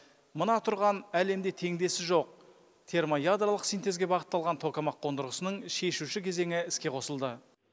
мына тұрған әлемде теңдесі жоқ термоядролық синтезге бағытталған токамак қондырғысының шешуші кезеңі іске қосылды